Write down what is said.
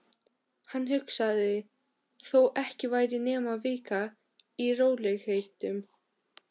Hann hugsaði: Þó ekki væri nema vika. í rólegheitum.